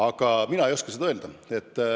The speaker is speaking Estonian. Aga mina ei oska seda öelda.